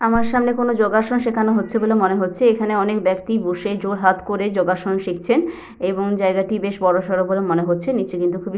আমার সামনে কোনো যোগা সন শেখানো হচ্ছে বলে মনে হচ্ছে এখানে অনেক ব্যক্তি বসে জোড়হাত করে যোগা সন শিখছেন এবং জায়গাটি বেশ বড় সড় বলে মনে হচ্ছে নিচে কিন্তু খুবই --